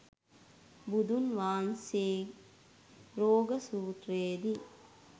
බුදුන් වහන්සේ රෝග සූත්‍රයේදි